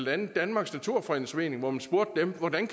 andet danmarks naturfredningsforening hvor man spurgte dem hvordan